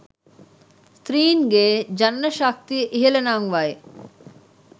ස්ත්‍රීන්ගේ ජනන ශක්තිය ඉහළ නංවයි.